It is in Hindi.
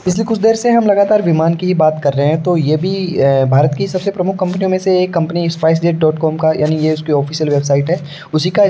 पिछले कुछ देर से हम लगातार विमान की ही बात कर रहे हैं तो ये भी भारत की सबसे प्रमुख कंपनियों में से स्पाइस जेट डॉट कॉम का यानी ऑफिशियल वेबसाइट है उसी का --